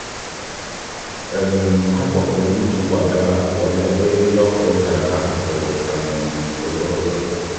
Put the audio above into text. ha kpọpụrụ ndị ji ụkwụ aga pụọ n'ebe eriri ọkụ dara n'akụkụ okporoụzọ.